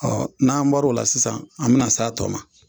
n'an bɔr'o la sisan an bɛna s'a tɔ ma.